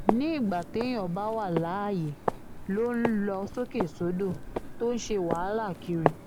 nígbà téèyàn bá wà láyé ló ń lọ sókè sódò tó ń ṣe wàhálà kiri